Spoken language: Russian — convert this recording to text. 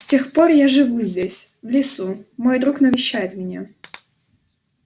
с тех пор я живу здесь в лесу мой друг навещает меня